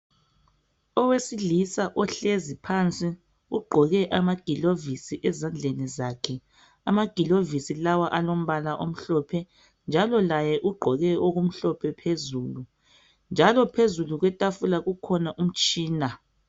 Owesilisa ohlezi phansi, ugqoke amagilovisi ezandleni zakhe. Amagilovisi lawa alombala omhlophe njalo laye ugqoke okumhlophe phezulu njalo phezulu kwetafula kukhona umtshina.